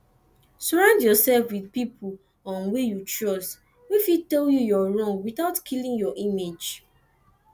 sorround yourself with pipo um wey you trust wey fit tell you your wrong without killing your image